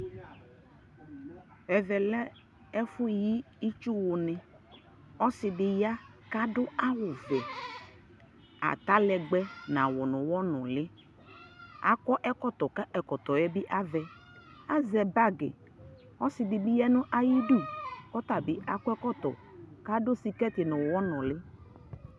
Ɛvɛ lɛ ɛfu yi ιtsu wu ni Ɔsi di ya ka du awu vɛAta lɛgbɛ na wu nu wɔ nuliAkɔ ɛkɔtɔ ka ɛkɔtɔ yɛ bi avɛAzɛ bagi Ɔsi di bi ya nu ayi du kɔ ta bi akɔ ɛkɔtɔ ka du sikɛti nu wɔ nuli